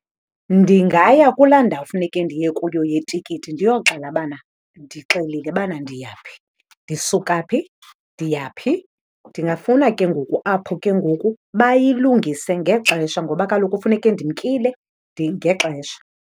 Ndingaya kulaa ndawo funeke ndiye kuyo yetikiti ndiyoxela bana ndixelile bana ndiya phi. Ndisuka phi, ndiya phi. Ndingafuna ke ngoku apho ke ngoku bayilungise ngexesha ngoba kaloku funeke ndimkile ngexesha.